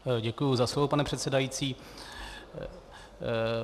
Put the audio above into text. Děkuji za slovo, pane předsedající.